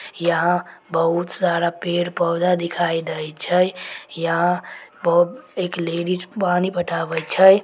यहाँ बहुत सारा पेड़-पौधा दिखाय देय छै। यहाँ ब-- एक लेडीज पानी पटावे छै।